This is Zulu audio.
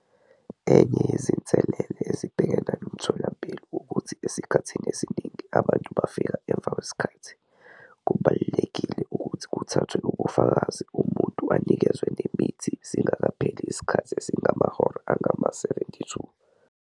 Enye yezinselele ezibhekene nomtholampilo ukuthi esikhathini esiningi abantu bafika emva kwesikhathi - kubalulekile ukuthi kuthathwe ubufakazi umuntu anikezwe nemithi singekapheli isikhathi esingamahora angama-72.